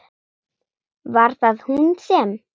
Var það hún sem?